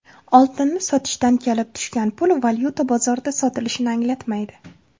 Oltinni sotishdan kelib tushgan pul valyuta bozorida sotilishini anglatmaydi.